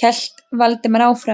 hélt Valdimar áfram.